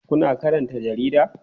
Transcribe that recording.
Kuna karanta jarida?